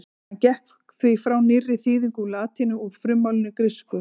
Hann gekk því frá nýrri þýðingu á latínu úr frummálinu grísku.